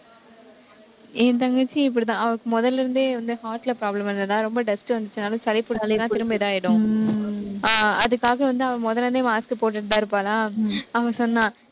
என் தங்கச்சி இப்படித்தான், அவளுக்கு முதல்ல இருந்தே வந்து heart ல problem இருந்ததுனால, ரொம்ப dust வந்துச்சுன்னாலும், சளி பிடிச்சாலும், திரும்ப இதாயிடும். அதுக்காக வந்து, அவ முதல்ல இருந்தே mask போட்டுட்டுதான் இருப்பாளா. அவ சொன்னா